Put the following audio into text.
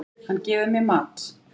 Hann gefur mér mat.